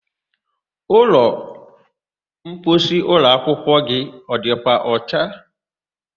Ụlọmposi ụlọakwụkwọ gị ọ dịkwa ọcha?